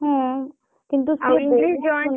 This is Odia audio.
ହଁ